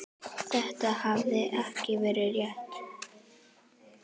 Þetta hafði ekki verið létt.